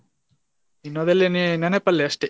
ನೆನಪಲ್ಲೇ ಅಷ್ಟೇ.